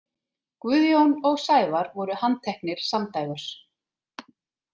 Guðjón og Sævar voru handteknir samdægurs.